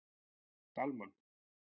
Dalmann